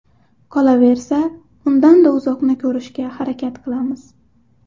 Qolaversa, undan da uzoqni ko‘rishga harakat qilamiz.